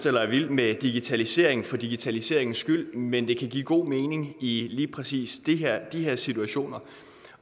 eller er vild med digitalisering for digitaliseringens skyld men det kan give god mening i lige præcis de her situationer